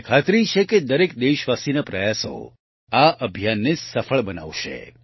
મને ખાતરી છે કે દરેક દેશવાસીના પ્રયાસો આ અભિયાનને સફળ બનાવશે